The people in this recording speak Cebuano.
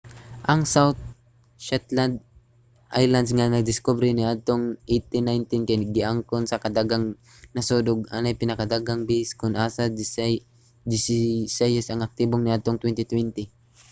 ang south shetland islands nga nadiskubre niadtong 1819 kay giangkon sa daghang nasod ug anaay pinakadaghang base kon asa desisayis ang aktibo niadtong 2020